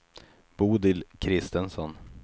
Bodil Kristensson